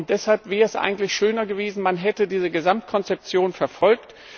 Deshalb wäre es eigentlich schöner gewesen, man hätte diese Gesamtkonzeption verfolgt.